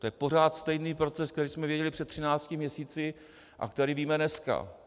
To je pořád stejný proces, který jsme věděli před třinácti měsíci a který víme dneska.